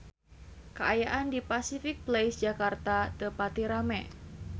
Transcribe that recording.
Kaayaan di Pasific Place Jakarta teu pati rame